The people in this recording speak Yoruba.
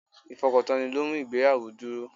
Ifokantoni lo ń mú ìgbéyàwó dúró.